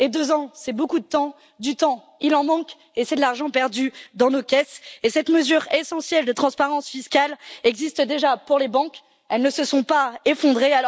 Et deux ans, c'est beaucoup de temps, du temps, il en manque, et c'est de l'argent perdu dans nos caisses. Cette mesure essentielle de transparence fiscale existe déjà pour les banques, et elles ne se sont pas effondrées.